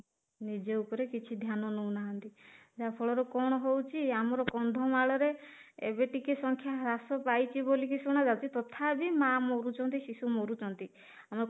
ନିଜ ଉପରେ କିଛି ଧ୍ୟାନ ନଉ ନାହାନ୍ତି ଯାହା ଫଳରେ କଣ ହଉଛି ଆମର କନ୍ଧମାଳରେ ଏବେ ଟିକେ ସଂଖ୍ୟା ହ୍ରାସ ପାଇଛି ବୋଲି କି ଶୁଣା ଯାଉଛି ତଥାପି ମା ମରୁଛନ୍ତି ଶିଶୁ ମରୁଛନ୍ତି ଆମ